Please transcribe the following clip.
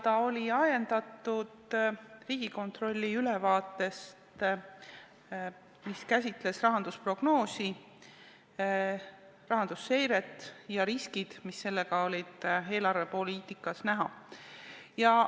Ta oli ajendatud Riigikontrolli ülevaatest, mis käsitles rahandusprognoosi, rahandusseiret ja riske, mis olid eelarvepoliitikas näha.